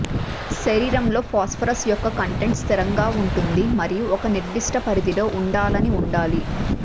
శరీరంలో ఫాస్పరస్ యొక్క కంటెంట్ స్థిరంగా ఉంటుంది మరియు ఒక నిర్దిష్ట పరిధిలో ఉండాలని ఉండాలి